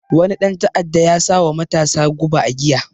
Wani ɗan ta'adda ya sawa matasa guba a giya